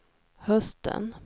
hösten